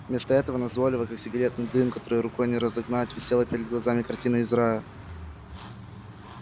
вместо этого назойливо как сигаретный дым который рукой не разогнать висела перед глазами картина из рая